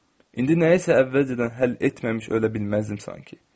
İndi nəyisə əvvəlcədən həll etməmiş ölə bilməzdim sanki.